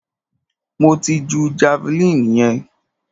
Mo ti ju javeline yẹn.